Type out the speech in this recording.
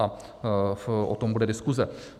A o tom bude diskuse.